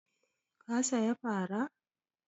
Ka saya fara?